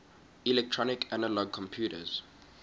electronic analog computers